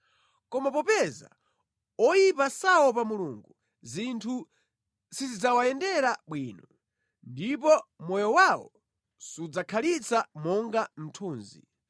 Koma popeza oyipa saopa Mulungu zinthu sizidzawayendera bwino, ndipo moyo wawo sudzakhalitsa monga mthunzi.